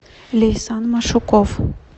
лейсан машуков